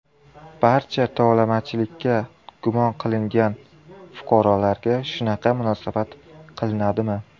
Barcha tovlamachilikda gumon qilingan fuqarolarga shunaqa munosabat qilinadimi?